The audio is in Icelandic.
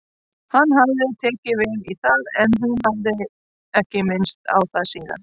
Hann hafði tekið vel í það en hún hafði ekki minnst á það síðan.